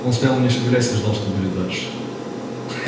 он стоял не шевелясь и ждал что будет дальше хе